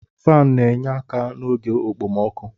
Faanụ na-enye aka n'oge okpomọkụ